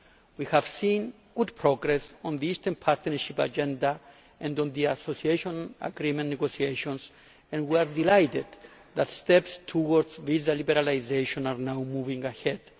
We have seen good progress on the Eastern Partnership Agenda and on the Association Agreement negotiations and we are delighted that steps towards visa liberalisation are now moving ahead.